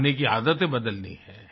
खाने की आदतें बदलनी है